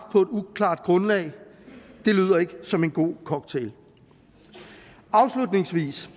på et uklart grundlag lyder ikke som en god cocktail afslutningsvis